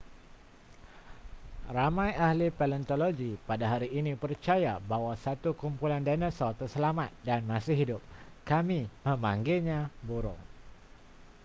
ramai ahli paleontologi pada hari ini percaya bahawa satu kumpulan dinosaur terselamat dan masih hidup kami memanggilnya burung